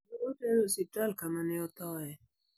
Ne otere e osiptal kama ne othoe.